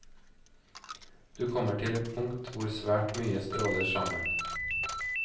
Du kommer til et punkt hvor svært mye stråler sammen.